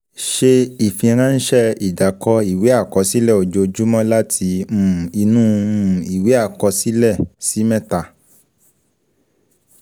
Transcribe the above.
Ṣe ìfiránsẹ́ ìdàkọ ìwé àkọsílẹ ojoojúmọ́ láti um inú um ìwé àkọsílẹ; ṣí mẹ́ta.